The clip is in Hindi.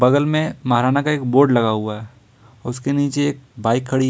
बगल में महाराणा का एक बोर्ड लगा हुआ है उसके नीचे एक बाइक खड़ी--